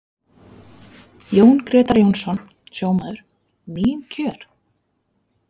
Jón Grétar Jónsson, sjómaður: Mín kjör?